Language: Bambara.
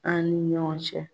An ni ɲɔgɔn cɛ.